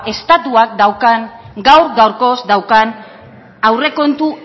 estatuak gaur gaurkoz daukan aurrekontu